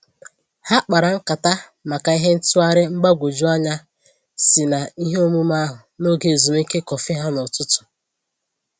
Ha kpara nkata maka ihe ntụgharị mgbagwoju anya si na ihe omume ahụ na oge ezumike kọfị ha na ụtụtụ